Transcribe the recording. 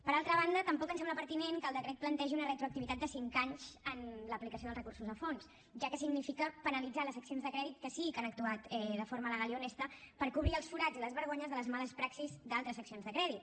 per altra banda tampoc ens sembla pertinent que el decret plantegi una retroactivitat de cinc anys en l’aplicació dels recursos al fons ja que significa penalitzar les seccions de crèdit que sí que han actuat de forma legal i honesta per cobrir els forats i les vergonyes de les males praxis d’altres seccions de crèdit